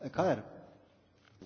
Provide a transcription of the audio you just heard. Panie Przewodniczący!